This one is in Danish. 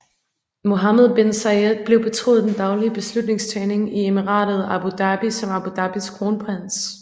Mohamed bin Zayed blev betroet den daglige beslutningstagning i emiratet Abu Dhabi som Abu Dhabis kronprins